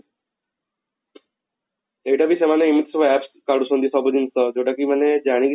ଏଇଟା ବି ସେମାନେ ଏମିତି ସବୁ APPS କାଢୁଛନ୍ତି ସବୁ ଜିନିଷ ଯଉଟା କି ମାନେ ଜାଣି